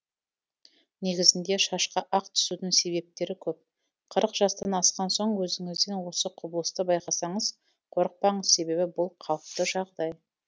негізінде шашқа ақ түсудің себептері көп қырық жастан асқан соң өзіңізден осы құбылысты байқасаңыз қорықпаңыз себебі бұл қалыпты жағдай